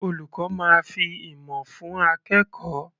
Olùkọ́ máa fi ìmọ̀ fún akẹ́kọ̀ọ́.